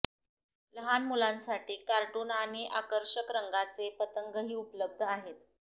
लहान मुलांसाठी कार्टून आणि आकर्षक रंगांचे पतंगही उपलब्ध आहे